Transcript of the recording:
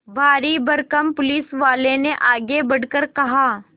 भारीभरकम पुलिसवाले ने आगे बढ़कर कहा